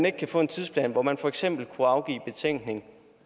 ikke kan få en tidsplan hvor man for eksempel skal afgive betænkning